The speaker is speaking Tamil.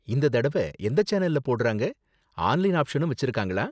இந்த தடவ எந்த சேனல்ல போடறாங்க, ஆன்லைன் ஆப்ஷனும் வெச்சிருக்காங்களா?